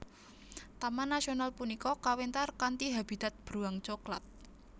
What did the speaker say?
Taman nasional punika kawéntar kanthi habitat beruang coklat